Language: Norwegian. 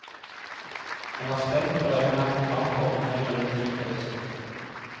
Han er spent, og regner med at programformen trenger litt tid for å sitte.